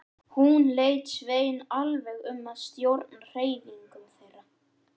Hún lét Svein alveg um að stjórna hreyfingum þeirra.